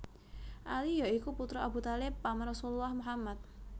Ali ya iku putra Abu Thalib paman Rasulullah Muhammad